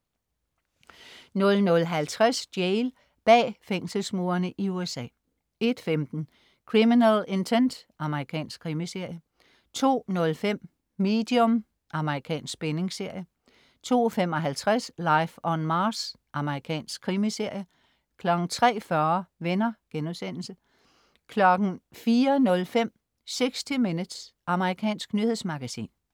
00.50 Jail. Bag fængselsmurene i USA 01.15 Criminal Intent. Amerikansk krimiserie 02.05 Medium. Amerikansk spændingsserie 02.55 Life on Mars. Amerikansk krimiserie 03.40 Venner* 04.05 60 Minutes. Amerikansk nyhedsmagasin